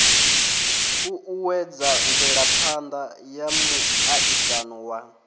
uuwedza mvelaphana ya muaisano wa